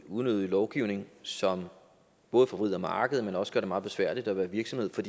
unødig lovgivning som både forvrider markedet men også gør det meget besværligt at være virksomhed for